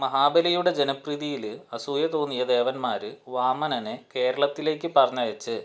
മഹാബലിയുടെ ജനപ്രീതിയില് ആസൂയ തോന്നിയ ദേവന്മാര് വാമനനെ കേരളത്തിലേക്ക് പറഞ്ഞയച്ച്